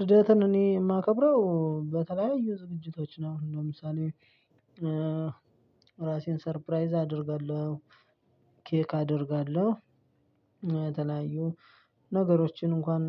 ልደትን እኔ የማከብረው በተለያዩ ዝግጅቶች ነው። ለምሳሌ ራሴን ሰርፕራይዝ አደርጋለሁ። ኬክ አደርጋለሁ የተለያዩ ነገሮችን እንኳን